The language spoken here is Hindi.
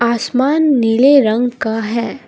आसमान नीले रंग का है।